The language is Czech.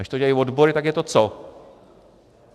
Když to dělají odbory, tak je to co?